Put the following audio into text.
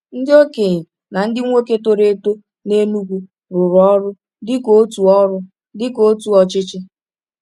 Ndị okenye na ndị nwoke toro eto n’Enugwu rụrụ ọrụ dịka otu ọrụ dịka otu ọchịchị.